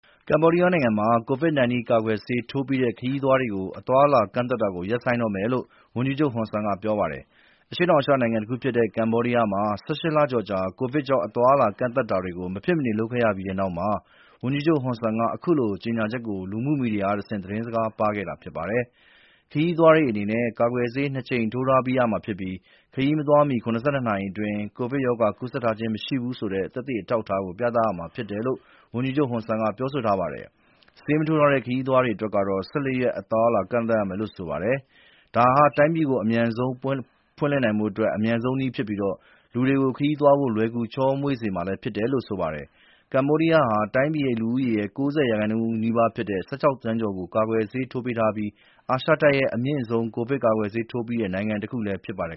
ကမ္ဘောဒီးယားနိုင်ငံမှာ COVID-19 ကာကွယ်ဆေး ထိုးပြီးတဲ့ ခရီးသွားတွေကို အသွားအလာ ကန့်သတ်တာကို ရပ်ဆိုင်းတော့မယ်လို့ ဝန်ကြီးချုပ် ဟွန်ဆန်က ပြောပါတယ်။ အရှေ့တောင်အာရှနိုင်ငံတခုဖြစ်တဲ့ ကမ္ဘောဒီးယားမှာ ၁၈ လကျော်ကြာ ကိုဗစ်ကြောင့် အသွားအလာ ကန့်သတ်တာတွေ မဖြစ်မနေ လုပ်ခဲ့ရပြီးတဲ့နောက် ဝန်ကြီးချုပ် ဟွန်ဆန်က အခုလို ကြေညာချက်ကို လူမှုမီဒီယာကတဆင့် သတင်းစကား ပါးခဲ့တာဖြစ်ပါတယ်။ ခရီးသွားတွေအနေနဲ့ ကာကွယ်ဆေး ၂ ကြိမ် ထိုးထားပြီးရမှာဖြစ်ပြီး ခရီးမသွားမီ ၇၂ နာရီအတွင်း ကိုဗစ်ရောဂါ ကူးစက်ထားခြင်း မရှိဘူးဆိုတဲ့ သက်သေအထောက်အထား ပြသရမှာဖြစ်တယ်လို့ ဝန်ကြီးချုပ် ဟွန်ဆန်က ပြောဆိုထားပါတယ်။ ဆေးမထိုးထားတဲ့ ခရီးသွားတွေကတော့ ၁၄ ရက် အသွားအလာ ကန့်သတ်ခံရမယ်လို့ ဆိုပါတယ်။ ဒါဟာ တိုင်းပြည်ကို အမြန်ဆုံး ပြန်လည်ဖွင့်လှစ်ဖို့ အမြန်ဆုံးနည်းလမ်းဖြစ်ပြီး လူတွေကို ခရီးသွားဖို့ လွယ်ကူချောမွေ့စေမှာလည်း ဖြစ်တယ်လို့ ဆိုပါတယ်။ ကမ္ဘောဒီးယားနိုင်ငံဟာ တိုင်းပြည်ရဲ့ လူဦးရေ ၉၀ ရာခိုင်နှုန်းနီးပါးဖြစ်တဲ့ လူ ၁၆ သန်းကျော်ကို ကာကွယ်ဆေးထိုးပေးထားပြီး အာရှတိုက်ရဲ့ အမြင့်ဆုံး ကိုဗစ်ကာကွယ်ဆေးထိုးပြီးတဲ့ နိုင်ငံတခုလည်း ဖြစ်ပါတယ်